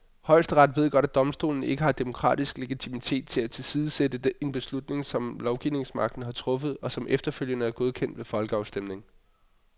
Højesteret ved godt, at domstolen ikke har demokratisk legitimitet til at tilsidesætte en beslutning, som lovgivningsmagten har truffet, og som efterfølgende er godkendt ved folkeafstemning.